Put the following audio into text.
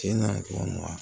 Tiɲɛna wa